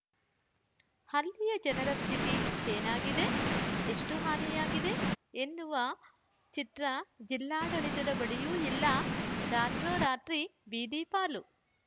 ಅಲ್ಲಿಯ ಜನರ ಸ್ಥಿತಿ ಏನಾಗಿದೆ ಎಷ್ಟುಹಾನಿಯಾಗಿದೆ ಎನ್ನುವ ಚಿತ್ರ ಜಿಲ್ಲಾಡಳಿತದ ಬಳಿಯೂ ಇಲ್ಲ ರಾತ್ರೋರಾತ್ರಿ ಬೀದಿಪಾಲು